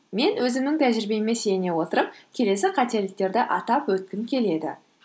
мен өзімнің тәжірибеме сене отырап келесі қателіктерді атап өткім келеді